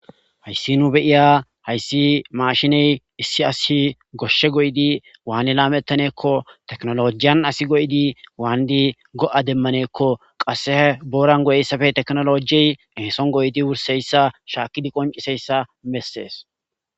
Haysi nu beyiya haysi mashinney issi asiy goshe goyidi Wani lametanne gikko tekinolojiya asiy goyidi gonna demane gikko qase boran goyzaysappe tekinolojey eson goyidi wursizaysa shakidi qonc'isizaysa beses.